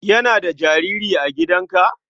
Yana da jariri a gidanka?